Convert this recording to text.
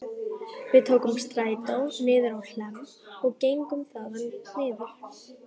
Við tókum strætó niður á Hlemm og gengum þaðan niður